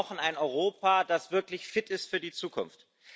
Wir brauchen ein Europa, das wirklich fit ist für die Zukunft.